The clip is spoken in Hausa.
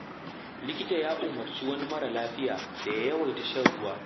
Likita ya umarci wani mara lafiya da ya yawaita shan ruwa.